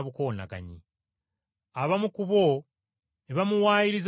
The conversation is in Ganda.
Abamu ku bo ne bamuwaayiriza nga bagamba nti,